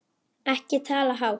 Ekki tala hátt!